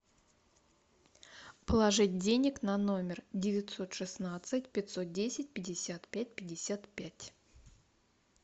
положить денег на номер девятьсот шестнадцать пятьсот десять пятьдесят пять пятьдесят пять